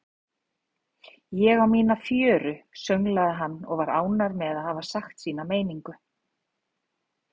Ég á mína fjöru, sönglaði hann og var ánægður með að hafa sagt sína meiningu.